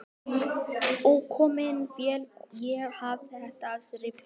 Ókominn féll ég af efsta þrepi